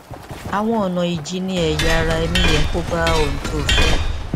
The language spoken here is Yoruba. àwọn ọnà ìjìnnìẹyà ara ẹni yẹ kí ó bá ohun tó o fẹ